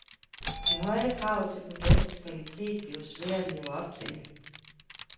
De høje krav til produktets kvalitet bliver svære at leve op til.